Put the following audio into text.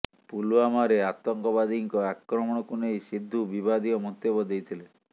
ପୁଲ୍ୱାମାରେ ଆତଙ୍କବାଦୀଙ୍କ ଆକ୍ରମଣକୁ ନେଇ ସିଦ୍ଧୁ ବିବାଦୀୟ ମନ୍ତବ୍ୟ ଦେଇଥିଲେ